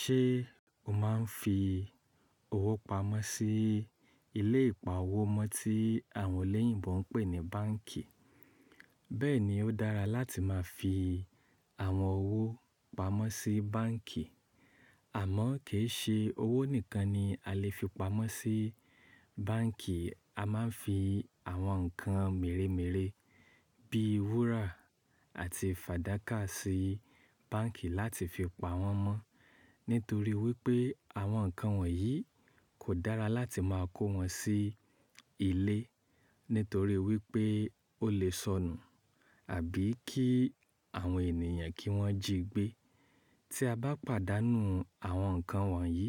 Ṣé o máa ń fi owó pamọ́ sí ilé ìpa owó mọ tí àwọn oloyìnbo ń pè ní báǹkì? Bẹ́ẹ̀ ni ó dára láti máa fi àwọn owó pamọ́ sí báǹkì. Àmọ́ kì í ṣe owó nìkan ni a lè fi pamọ́ sí báǹkì. A máa ń fi àwọn nǹkan meremeré bíi ìwúrà àti fàdákà sí báǹkì láti fi pa wọ́n mọ́. Nítorí wípé àwọn nǹkan wọ̀nyí kò dára láti máa kó wọn sí ilé. Nítorí wípé ó lè sọnù àbí kí àwọn ènìyàn kí wọ́n jí gbé. Tí a bá pàdánù àwọn nǹkan wọ̀nyí,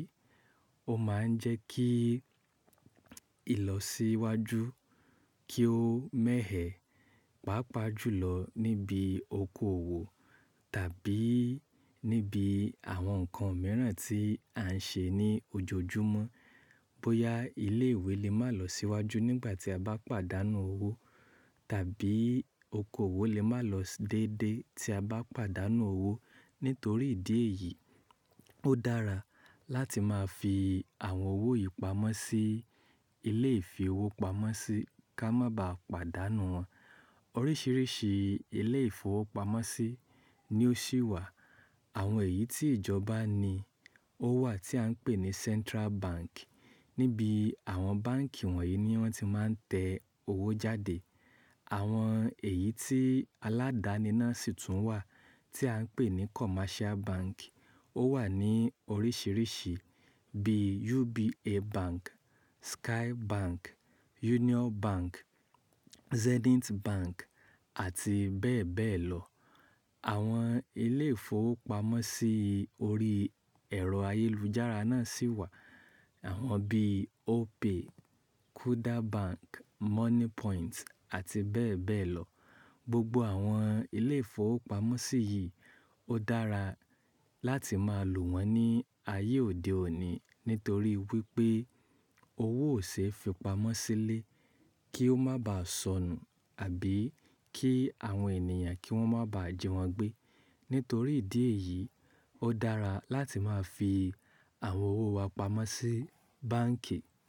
ó máa ń jẹ́ kí ìlọsíwájú kí ó mẹ̀hẹ̀, pàápàá jùlọ níbi okoòwò tàbí níbi àwọn nǹkan mìíràn tí à ń ṣe ní ojoojúmọ́. Bóyá ilé ìwé lè máa lọ sí wájú nígbà tí a bá pàdánù owó tàbí okoòwò lè máa lọ déédé tí a bá pàdánù owó. Nítorí ìdí èyí, ó dára láti máa fi àwọn owó yìí pamọ́ sí ilé ìfi owó pamọ́ sí ká má baà pàdánù wọ́n. Oríṣìíríṣìí ilé ìfowópamọ́sí ni ó ṣí wà. Àwọn èyí tí ìjọba ni ó wà tí à ń pè ní Central Bank. Níbi àwọn báǹkì wọ̀nyí ni wọ́n ti máa ń tẹ owó jáde. Àwọn èyí tí aládáni náà sì tún wà tí à ń pè ní Commercial Bank. Ó wà ní oríṣìíríṣìí bíi UBA Bank, Skye Bank, Union Bank, Zenith Bank àti bẹ́ẹ̀ bẹ́ẹ̀ lọ. Àwọn ilé ìfowópamọ́sí ori ẹ̀rọ ayélujára náà sì wà. Àwọn bíi Opay, Kuda Bank, Money Point àti bẹ́ẹ̀ bẹ́ẹ̀ lọ. Gbogbo àwọn ilé ìfowópamọ́sí yìí ó dára láti máa lò wọ́n ní ayé òde òní. Nítorí wípé owó ò ṣe é fi pamọ́ sílé kí ó má baà sọnù àbí kí àwọn ènìyàn kí wọ́n má baà jí wọn gbé. Nítorí ìdí èyí, ó dára láti máa fi àwọn owó wa pamọ́ sí báǹkì.